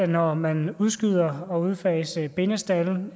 når man udskyder at udfase bindestalde